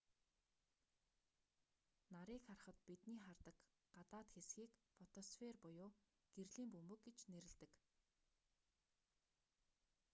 нарыг харахад бидний хардаг гадаад хэсгийг фотосфер буюу гэрлийн бөмбөг гэж нэрлэдэг